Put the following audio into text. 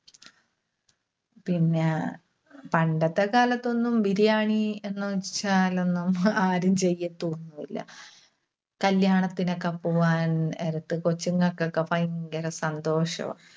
പിന്നെ, പണ്ടത്തെക്കാലത്തൊന്നും Biriyani എന്നുവെച്ചാലൊന്നും ആരും ചെയ്യത്തൊന്നും ഇല്ല. കല്യാണത്തിനൊക്കെ പോവാൻ ആ ഇപ്പ കൊച്ചുങ്ങൾക്കൊക്കെ ഭയങ്കര സന്തോഷവാ.